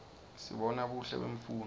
sibona buhle bemfundvo